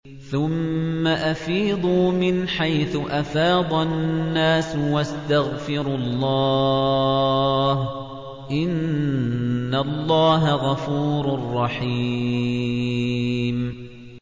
ثُمَّ أَفِيضُوا مِنْ حَيْثُ أَفَاضَ النَّاسُ وَاسْتَغْفِرُوا اللَّهَ ۚ إِنَّ اللَّهَ غَفُورٌ رَّحِيمٌ